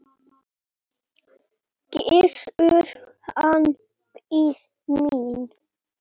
Gissur, hann biði mín.